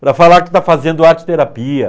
Para falar que está fazendo arteterapia.